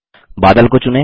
बादल को चुनें